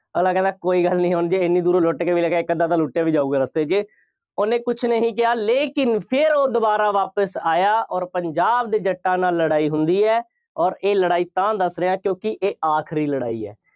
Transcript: ਅਗਲਾ ਕਹਿੰਦਾ ਕੋਈ ਗੱਲ ਨਹੀਂ ਹੁਣ ਜੇ ਐਨੀ ਦੂਰੋਂ ਲੁੱਟ ਕੇ ਵੀ ਲੈ ਕੇ ਆਏ, ਇੱਕ ਅੱਧਾ ਤਾਂ ਲੁੱਟਿਆ ਵੀ ਜਾਊਗਾ ਰਸਤੇ ਵਿੱਚ, ਉਹਨੇ ਕੁੱਝ ਨਹੀਂ ਕਿਹਾ ਲੇਕਿਨ ਫੇਰ ਉਹ ਦੁਬਾਰਾ ਵਾਪਿਸ ਆਇਆ ਅੋਰ ਪੰਜਾਬ ਦੇ ਜੱਟਾਂ ਨਾਲ ਲੜਾਈ ਹੁੰਦੀ ਹੈ ਅੋਰ ਇਹ ਲੜਾਈ ਤਾਂ ਦੱਸ ਰਿਹਾਂ ਕਿਉਂਕਿ ਇਹ ਆਖਰੀ ਲੜਾਈ ਹੈ।